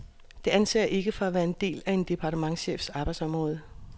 Det anser jeg ikke for at være en del af en departementschefs arbejdsområde.